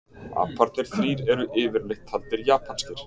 Aparnir þrír eru yfirleitt taldir japanskir.